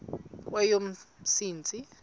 kweyomsintsi